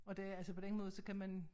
Og det altså på den måde så kan man